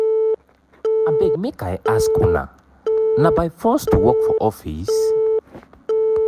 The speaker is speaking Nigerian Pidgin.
abeg make i ask una na by force to work for office?